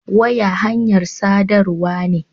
Waya hanyar sadarwa ne.